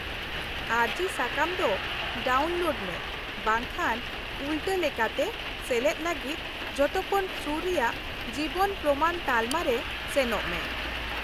-ᱟᱹᱨᱡᱤ ᱥᱟᱠᱟᱢ ᱫᱚ ᱰᱟᱣᱩᱱᱞᱳᱰ ᱢᱮ ᱵᱟᱝᱠᱷᱟᱱ ᱩᱞᱴᱟᱹ ᱞᱮᱠᱟᱛᱮ ᱥᱮᱞᱮᱫ ᱞᱟᱹᱜᱤᱫ ᱡᱷᱚᱛᱚᱠᱷᱚᱱ ᱥᱩᱨ ᱨᱮᱭᱟᱜ ᱡᱤᱵᱚᱱ ᱯᱨᱚᱢᱟᱱ ᱛᱟᱞᱢᱟᱨᱮ ᱥᱮᱱᱚᱜ ᱢᱮ ᱾